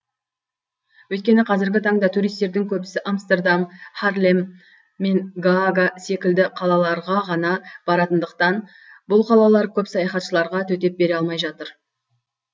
өйткені қазіргі таңда туристердің көбісі амстердам харлем мен гаага секілді қалаларға ғана баратындықтан бұл қалалар көп саяхатшыларға төтеп бере алмай жатыр